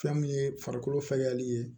Fɛn min ye farikolo fɛgɛyali ye